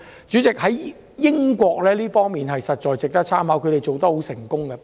主席，英國在這方面的做法實在值得參考，他們做得十分成功。